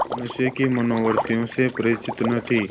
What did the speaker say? वह मनुष्य की मनोवृत्तियों से परिचित न थी